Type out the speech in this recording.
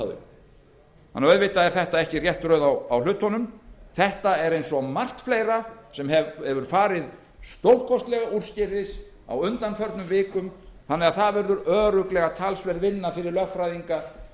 þau hlutunum er því ekki forgangsraðað rétt það er eins og margt fleira sem farið hefur stórkostlega úrskeiðis á undanförnum vikum þannig að það verður örugglega talsverð vinna fyrir lögfræðinga